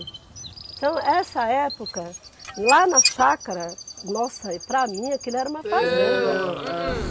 Então, essa época, lá na chácara, nossa, para mim aquilo era uma fazenda.